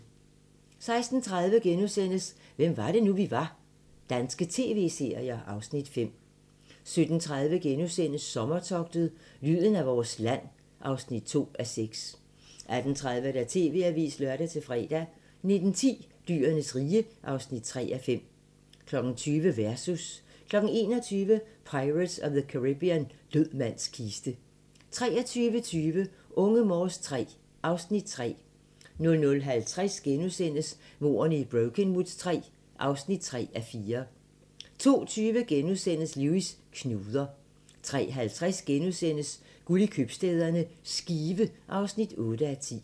16:30: Hvem var det nu, vi var - danske tv-serier (Afs. 5)* 17:30: Sommertogtet - lyden af vores land (2:6)* 18:30: TV-avisen (lør-fre) 19:10: Dyrenes rige (3:5) 20:00: Versus 21:00: Pirates of the Caribbean – Død mands kiste 23:20: Unge Morse III (Afs. 3) 00:50: Mordene i Brokenwood III (3:4)* 02:20: Lewis: Knuder * 03:50: Guld i købstæderne - Skive (8:10)*